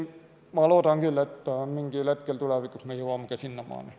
Ma loodan küll, et mingil hetkel tulevikus me jõuame sinnamaani.